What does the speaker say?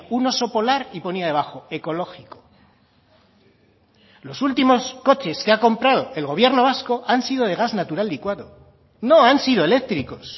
un oso polar y ponía debajo ecológico los últimos coches que ha comprado el gobierno vasco han sido de gas natural licuado no han sido eléctricos